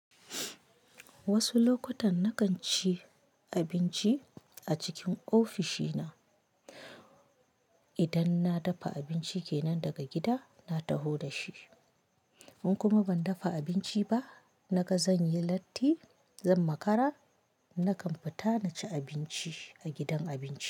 Wasu lokutan na kan ci abinci a cikin ofishina. Idan na dafa abinci ke nan daga gida, na taho da shi. In kuma ban dafa abinci ba, naga zan yi latti, zan makara, na kan fita na ci abinci a gidan abinci.